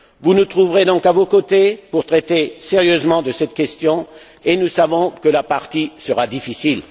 Vous nous trouverez donc à vos côtés pour traiter sérieusement de cette question et nous savons que la partie sera difficile.